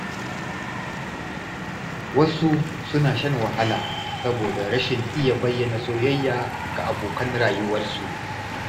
Wasu suna shan wahala saboda rashin iya bayyana soyayya ga abokan rayuwarsu